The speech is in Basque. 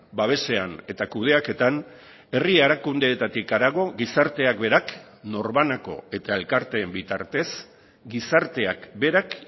babesean eta kudeaketan herri erakundeetatik harago gizarteak berak norbanako eta elkarteen bitartez gizarteak berak